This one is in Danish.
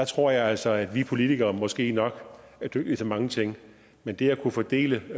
tror jeg altså at vi politikere måske nok er dygtige til mange ting men det at kunne fordele